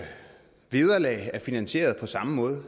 vi